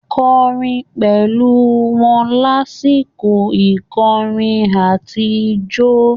Kọrin pẹ̀lú wọn lásìkò ìkọrin àtijọ́.